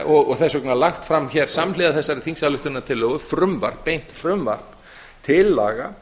og þess vegna lagt fram hér samhliða þessari þingsályktunartillögu frumvarp beint frumvarp til laga